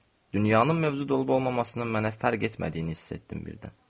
Dünyanın mövcud olub-olmamasının mənə fərq etmədiyini hiss etdim birdən.